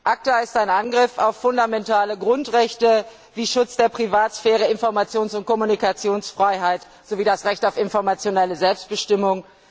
ACTA ist ein Angriff auf fundamentale Grundrechte wie Schutz der Privatsphäre, Informations und Kommunikationsfreiheit sowie das Recht auf informationelle Selbstbestimmung.